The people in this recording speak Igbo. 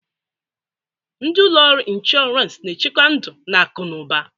Ndi ụlọ ọrụ ịnshọransị na-echekwa ndụ na akụ n'ụba